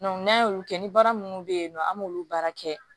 n'an y'olu kɛ ni baara minnu bɛ yen nɔ an b'olu baara kɛ